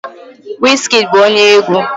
Wizkid bụ onye egwu